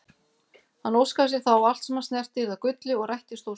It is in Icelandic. Hann óskaði sér þá að allt sem hann snerti yrði að gulli og rættist óskin.